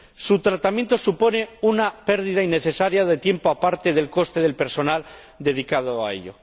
Su tratamiento supone una pérdida innecesaria de tiempo, aparte del coste de personal dedicado a ello.